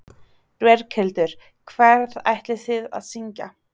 Berghildur: Hvað ætlið þið að syngja?